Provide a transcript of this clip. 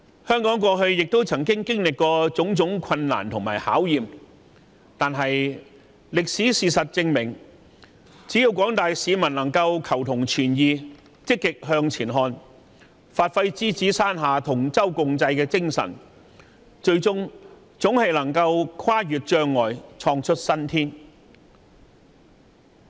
香港過去亦曾經歷種種困難和考驗，但歷史證明，只要廣大市民能夠求同存異，積極向前看，發揮獅子山下同舟共濟的精神，最終總能跨越障礙，創出新天。